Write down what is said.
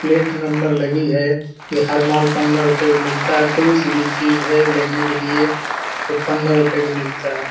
Plate number लगी हे के हर माल पंद्रह रुपे में मिलता हे कोई सी भी चीज हे लेने के लिए पंद्रह रुपए का मिलता है।